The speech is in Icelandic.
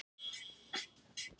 Vinir hittast og mynda tengsl